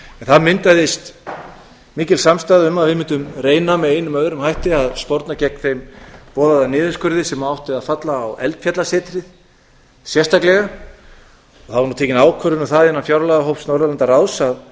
það myndaðist mikil samstaða um að við mundum reyna með einum eða öðrum hætti að sporna gegn þeim boðaða niðurskurði sem átti að falla á eldfjallasetrið sérstaklega það var nú tekin ákvörðun um það innan fjárlagahóps norðurlandaráðs að